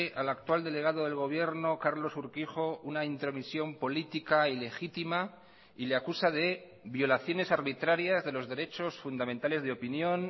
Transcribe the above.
al actual delegado del gobierno carlos urquijo una intromisión política ilegítima y le acusa de violaciones arbitrarias de los derechos fundamentales de opinión